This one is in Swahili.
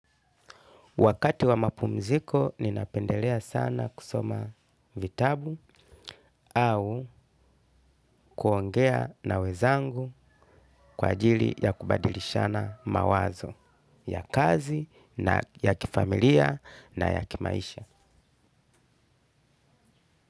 Wakati wa mapumziko, ninapendelea sana kusoma vitabu. Au kuongea na wenzangu kwa ajili ya kubadilishana mawazo ya kazi, na ya kifamilia na ya kimaisha.